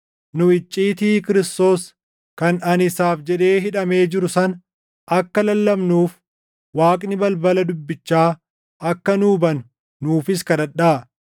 Nu icciitii Kiristoos kan ani isaaf jedhee hidhamee jiru sana akka lallabnuuf Waaqni balbala dubbichaa akka nuu banu nuufis kadhadhaa.